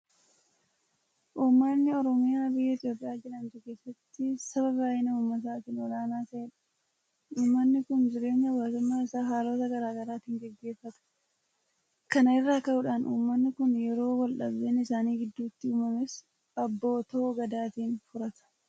Uummani Oromoo biyya Itoophiyaa jedhamtu keessatti saba baay'ina uummataatiin olaanaa ta'edha. Uummanni kun jireenya Hawaasummaa isaa haalota garaa garaatiin gaggeeffata. Kana irraa ka'uudhaan Uummanni kun yeroo waldhabdeen isaan gidduutti uumames Abbootoo Gadaatiin furata.